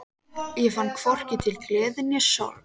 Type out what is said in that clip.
Ég fann hvorki til gleði né sorgar.